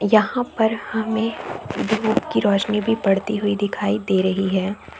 यहाँ पर हमे धुप की रौशनी भी पड़ती हुई दिखाई दे रही है।